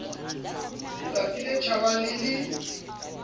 tsatsi le tjhabang le le